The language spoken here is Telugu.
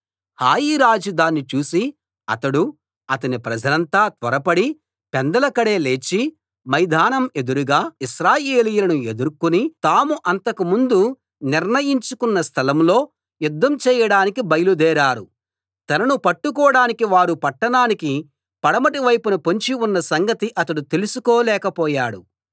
హాయి రాజు దాన్ని చూసి అతడూ అతని ప్రజలంతా త్వరపడి పెందలకడే లేచి మైదానం ఎదురుగా ఇశ్రాయేలీయులను ఎదుర్కొని తాము అంతకు ముందు నిర్ణయించుకొన్న స్థలం లో యుద్ధం చేయడానికి బయలుదేరారు తనను పట్టుకోడానికి వారు పట్టణానికి పడమటి వైపున పొంచి ఉన్న సంగతి అతడు తెలుసుకోలేక పోయాడు